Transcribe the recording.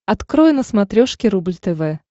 открой на смотрешке рубль тв